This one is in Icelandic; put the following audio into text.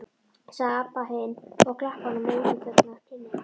sagði Abba hin og klappaði honum á útitekna kinnina.